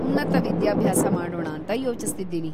ಉನ್ನತ ವಿದ್ಯಾಭ್ಯಾಸ ಮಾಡೋಣಾಂತ ಯೋಚಿಸ್ತಿದ್ದೀನಿ.